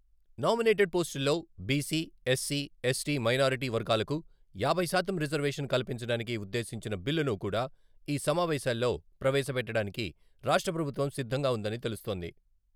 Nominated పోస్టుల్లో BC, SC., ST minority వర్గాలకు యాభై శాతం రిజర్వేషన్ కల్పించడానికి ఉద్దేశించిన బిల్లును కూడా ఈ సమావేశాల్లో ప్రవేశ పెట్టడానికి రాష్ట్రప్రభుత్వం సిద్ధంగా ఉందని తెలుస్తోంది.